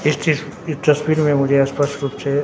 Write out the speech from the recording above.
इस इस ये तस्वीर में मुझे स्पष्ट रुप से--